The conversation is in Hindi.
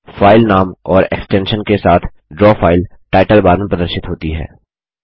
फ़ाइल नाम और एक्सटेंशन के साथ ड्रा फाइल टाइटल बार में प्रदर्शित होती है